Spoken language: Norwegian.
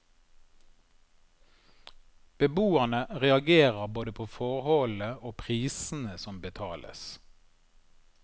Beboerne reagerer både på forholdene og prisene som betales.